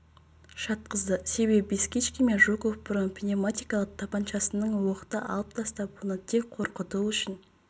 жатқызды себебі бескичкин мен жуков бұрын пневматикалық тапаншасынан оқты алып тастап оны тек қорқыту үшін